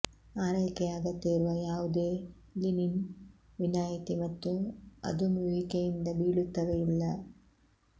ಆರೈಕೆಯ ಅಗತ್ಯವಿರುವ ಯಾವುದೇ ಲಿನಿನ್ ವಿನಾಯಿತಿ ಮತ್ತು ಅದುಮುವಿಕೆಯಿಂದ ಬೀಳುತ್ತವೆ ಇಲ್ಲ